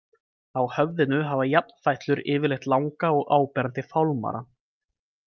Á höfðinu hafa jafnfætlur yfirleitt langa og áberandi fálmara.